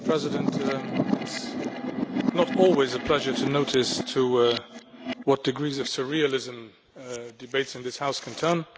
Madam President, it is not always a pleasure to notice to what degrees of surrealism debates in this House can turn.